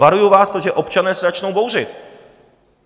Varuju vás, protože občané se začnou bouřit.